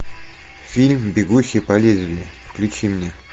фильм бегущий по лезвию включи мне